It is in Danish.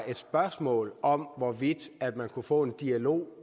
et spørgsmål om hvorvidt man kunne få en dialog